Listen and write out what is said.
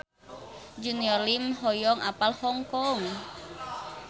Junior Liem hoyong apal Hong Kong